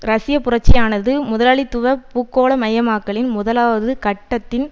ரஷ்ய புரட்சியானது முதலாளித்துவ பூகோள மயமாக்கலின் முதலாவதுகட்டத்தின்